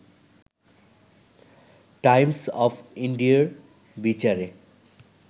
Times of ইন্ডিয়ার বিচারে